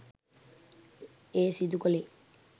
එය සිදු කළේ